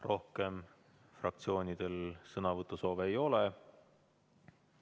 Rohkem fraktsioonidel sõnavõtusoove ei ole.